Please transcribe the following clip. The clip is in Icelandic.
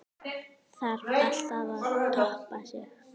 Þarf alltaf að toppa sig?